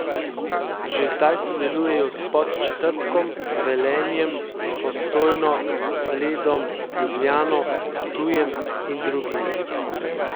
Že zdaj sodelujejo s Podčetrtkom, Velenjem, Postojno, Bledom, Ljubljano, Ptujem in drugimi.